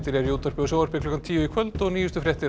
eru í útvarpi og sjónvarpi klukkan tíu í kvöld og nýjustu fréttir